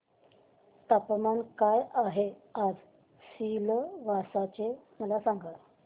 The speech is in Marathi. तापमान काय आहे आज सिलवासा चे मला सांगा